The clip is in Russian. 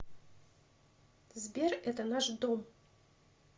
сбер это наш дом